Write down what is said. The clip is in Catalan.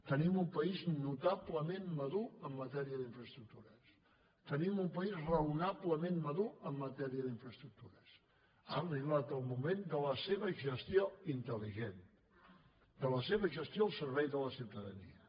tenim un país notablement madur en matèria d’infraestructures tenim un país raonablement madur en matèria d’infraestructures ha arribat el moment de la seva gestió intel·ligent de la seva gestió al servei de la ciutadania